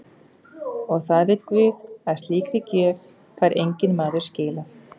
Og það veit guð að slíkri gjöf fær enginn maður skilað.